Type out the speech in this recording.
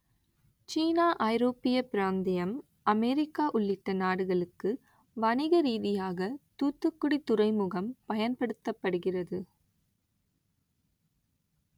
சீனா ஐரோப்பிய பிராந்தியம் அமெரிக்கா உள்ளிட்ட நாடுகளுக்கு வணிக ரீதியாக தூத்துக்குடி துறைமுகம் பயன்படுத்தப்படுகிறது